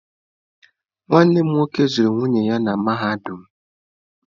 Nwanne m nwoke zụrụ nwunye ya na mahadum.